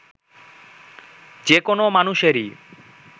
যে কোনো মানুষেরই